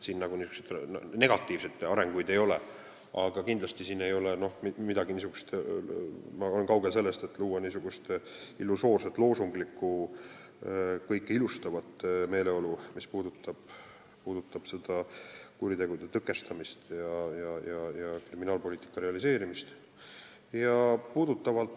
Siin negatiivseid arenguid ei ole, aga ma olen kaugel sellest, et luua illusoorset, loosunglikku, kõike ilustavat meeleolu, mis puudutab kuritegude tõkestamist ja kriminaalpoliitika realiseerimist.